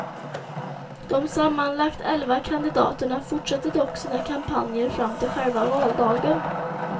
De sammanlagt elva kandidaterna fortsätter dock sina kampanjer fram till själva valdagen.